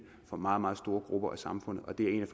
for meget meget store grupper af samfundet